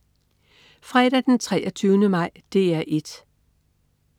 Fredag den 23. maj - DR 1: